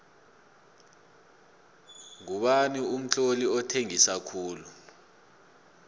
ngubani umtloli othengisa khulu